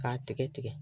K'a tigɛ tigɛ